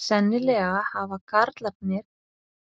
Sennilega hafa karlarnir